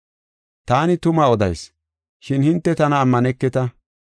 Taani tuma odayis, shin hinte tana ammaneketa.